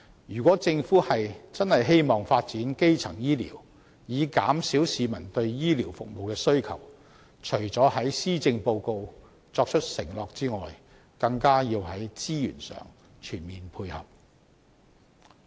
如果政府認真希望發展基層醫療以減少市民對醫療服務的需求，除了在施政報告作出承諾外，更要在資源上全面配合。